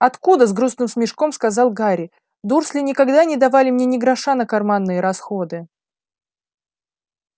откуда с грустным смешком сказал гарри дурсли никогда не давали мне ни гроша на карманные расходы